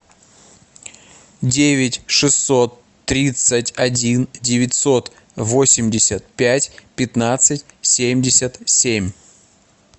девять шестьсот тридцать один девятьсот восемьдесят пять пятнадцать семьдесят семь